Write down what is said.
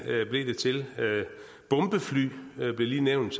til bombefly blev lige nævnt